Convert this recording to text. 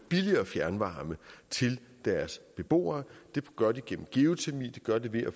billigere fjernvarme til deres beboere det gør de gennem geotermi det gør de ved at